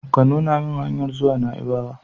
Ka nuna min hanyar zuwa naibawa!